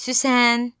Süsən!